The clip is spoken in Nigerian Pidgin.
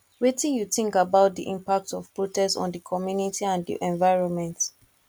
wetin you think about di impact of protest on di community and di environment